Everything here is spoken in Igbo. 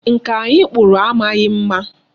Nka anyi kpụrụ amaghị mma.